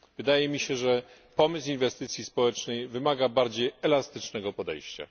Wydaje mi się, że pomysł inwestycji społecznych wymaga bardziej elastycznego podejścia.